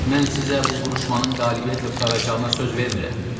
Mən sizə bu vuruşmanın qələbiyyətlə qurtaracağına söz vermirəm.